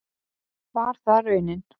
Var það raunin?